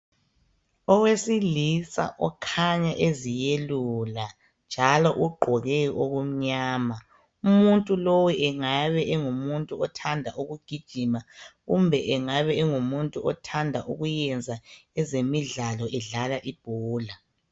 Owesilisa okhanya eziyelula njalo ugqoke okumnyama umuntu lo engabe engumuntu othanda ukugijima kumbe engabe engumuntu othanda ukuyenza ezemidlalo edlala ibhola.